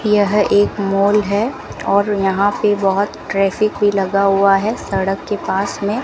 यह एक मॉल है और यहां पे बहोत ट्रैफिक भी लगा हुआ है सड़क के पास में --